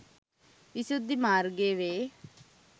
විසුද්ධි මාර්ගය වේ.